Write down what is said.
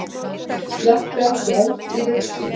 Slökktu ekki eld í rusli